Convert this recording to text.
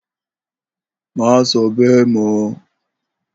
Má so̩ bé̩è̩ mó̩!